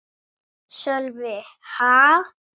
Sölvi: Ha?